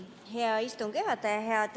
Hea istungi juhataja!